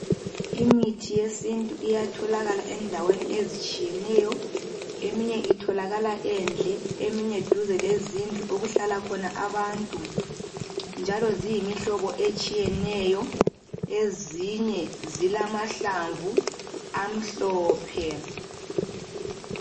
Imithi yesintu iyatholakala endaweni ezitshiyeneyo eminye itholakala endle eminye duze lezindlu okuhlala khona abantu njalo ziyimihlobo etshiyeneyo ezinye zilamahlamvu amhlophe.